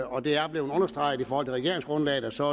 og det er blevet understreget i forhold til regeringsgrundlaget så